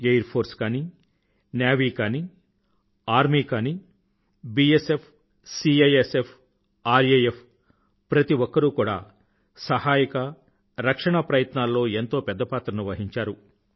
AIR force కాని navy కాని army కాని bsfసీఐఎస్ఎఫ్ రాఫ్ ప్రతి ఒక్కరూ కూడా సహాయక రక్షణా ప్రయత్నాల్లో ఎంతో పెద్ద పాత్రను వహించారు